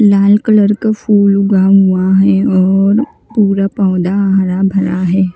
लाल colour क फूल उगा हुआ है और पूरा पौधा हरा भरा है।